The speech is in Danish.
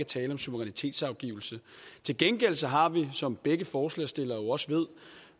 tale om suverænitetsafgivelse til gengæld har vi som begge forslagsstillere jo også ved